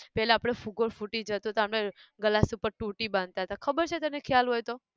પેલા આપણે ફુગ્ગો ફૂટી જાતો હતો, આપણે glass ઉપર ટોટી બાંધતાં હતા ખબર છે તને ખ્યાલ હોય તો!